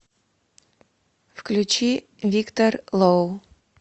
включи виктор лоу